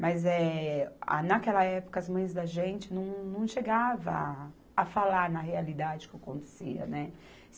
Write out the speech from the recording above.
Mas eh, a, naquela época, as mães da gente não, não chegavam a falar na realidade o que acontecia, né.